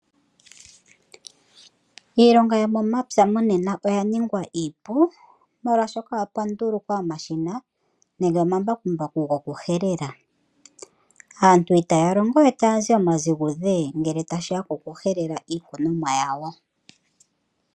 Iilonga yomomapya monena oya ningwa iipu, molwaashoka opwa ndulukwa omashina nenge omambakumbaku goku helela. Aantu otaya longowe taya zi omaziguze ngele tashiya koku helela iikunwa yawo.